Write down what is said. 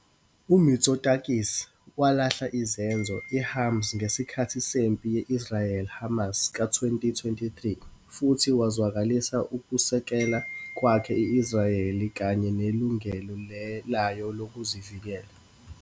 UMitsotakis walahla izenzo i-Hamas ngesikhathi sempi ye-Israel-Hamas ka-2023 futhi wazwakalisa ukusekela kwakhe i-Israel kanye nelungelo layo lokuzivikela.